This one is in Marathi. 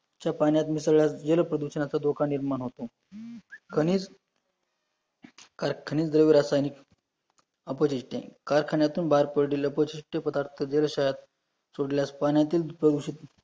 च्या पाण्यात मिसळल्यास जलप्रदूषणाचा धोका निर्माण होतो, कणीस कारखाने द्रव्य रासायनिक कैल्शियम वेब मैग्नीशियम आहे, कारखान्यातून बाहेर पडेलल, पौशीष्ट पदार्थ जाल्शायात सोडल्यास पाण्यातील प्रदूषित